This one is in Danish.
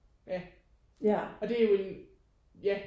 Ja og det er jo en ja